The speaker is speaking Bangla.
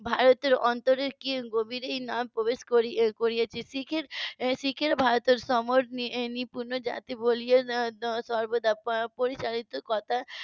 ভারতের অন্তরের কি গভীরেই না প্রবেশ করেছে . সর্বদা পরিচালিত কথা